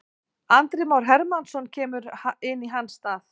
Andri Már Hermannsson kemur inn í hans stað.